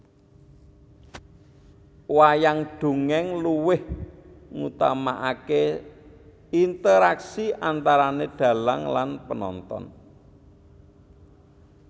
Wayang dongèng luweh ngutamakake interaksi antarane dhalang lan penonton